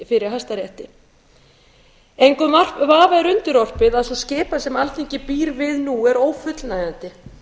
fyrir hæstarétti engum vafa er undirorpið að sú skipan sem alþingi býr við nú er ófullnægjandi